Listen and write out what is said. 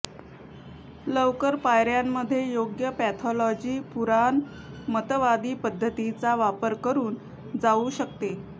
लवकर पायऱ्यांमध्ये योग्य पॅथॉलॉजी पुराणमतवादी पद्धतींचा वापर करून जाऊ शकते